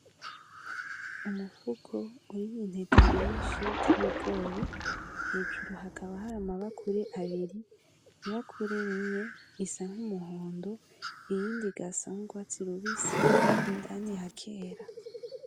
Umufuko urimwo intete nyinshi z'ibigori hejuru hakaba hari amabakure abiri, ibakure rimwe risa nk'umuhondo irindi rigasa nk'urwatsi rubisi indani hakera.